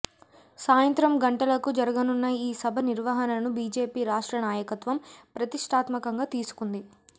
సాయంత్రం గంటలకు జరగనున్న ఈ సభ నిర్వహణను బీజేపీ రాష్ట్ర నాయకత్వం ప్రతిష్ఠాత్మకంగా తీసుకుంది